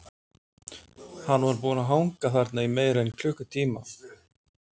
Hann var búinn að hanga þarna í meira en klukkutíma.